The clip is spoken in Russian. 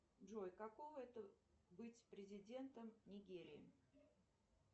джой каково это быть президентом нигерии